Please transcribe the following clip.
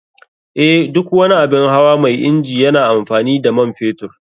Eh, duk wani abun hawa mai inji yana amfani da man fetur.